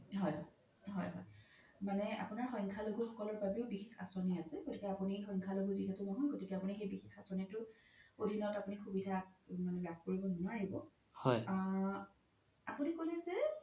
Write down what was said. হয় হয় মানে আপোনাৰ সন্খ্যা লগু সকলৰ বাবেও বিশেষ আচনী আছে গতিকে আপোনি সন্খ্যা লগু যিহেতু নহয় গতিকে আপোনি সেই বিশেষ আচনীতো আধিনত আপোনি সুবিধা লাভ কৰিব নোৱাৰিব আ আপোনি ক্'লেই যে